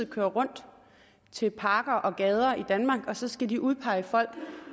køre rundt til parker og gader i danmark og så skal de udpege folk